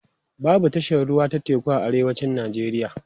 babu tashar ruwa ta teku a arewacin nigeria